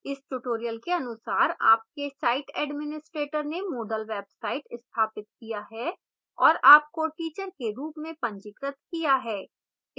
इस tutorial के अनुसार आपके site administrator ने moodle website स्थापित किया है और आपको teacher के रूप में पंजीकृत किया गया है